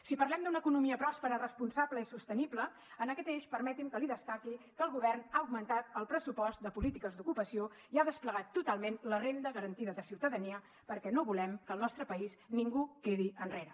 si parlem d’una economia pròspera responsable i sostenible en aquest eix permeti’m que li destaqui que el govern ha augmentat el pressupost de polítiques d’ocupació i ha desplegat totalment la renda garantida de ciutadania perquè no volem que al nostre país ningú quedi enrere